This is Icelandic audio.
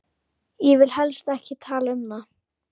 Ég vil helst ekki tala um það.